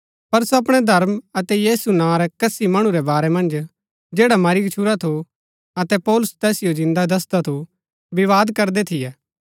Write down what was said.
पर सो अपणै धर्म अतै यीशु नां रै कसी मणु रै बारै मन्ज जैडा मरी गच्छुरा थु अतै पौलुस तैसिओ जिन्दा दसदा थु विवाद करदै थियै